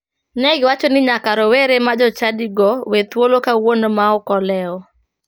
Ne giwacho ni nyaka rowere ma jochadigo we thuolo kawuono ma ok olewo.